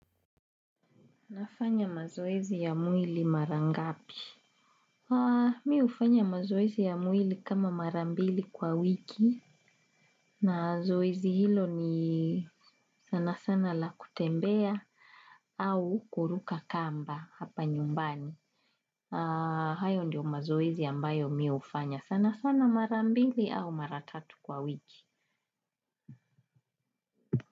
Nafanya mazoezi ya mwili mara ngapi? Mimi hufanya mazoezi ya mwili kama mara mbili kwa wiki na zoezi hilo ni sana sana la kutembea au kuruka kamba hapa nyumbani. Hayo ndiyo mazoezi ambayo mimi hufanya sana sana mara mbili au mara tatu kwa wiki.